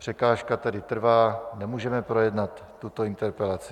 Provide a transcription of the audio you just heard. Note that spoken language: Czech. Překážka tedy trvá, nemůžeme projednat tuto interpelaci.